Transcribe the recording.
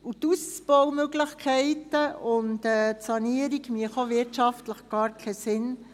Die Ausbaumöglichkeiten und die Sanierung ergäben auch wirtschaftlich gar keinen Sinn.